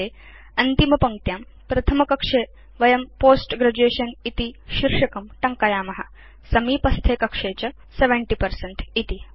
अन्ते अन्तिमपङ्क्त्यां प्रथमकक्षे वयं पोस्ट ग्रेजुएशन इति शीर्षकं टङ्कयाम समीपस्थे कक्षे च 70 पर्सेंट